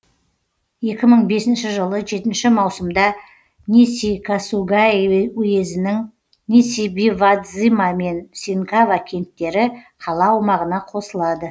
екі мың бесінші жылы жетінші маусымда нисикасугаи уезінің нисибивадзима мен синкава кенттері қала аумағына қосылады